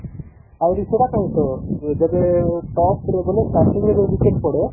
ଆହୁରି ସେଇଟା ପାଇଁ ତ ଯେବେ ପରେ ବୋଲେ ଯେବେ starting ରୁ ଯୋଉ wicket ପଡେ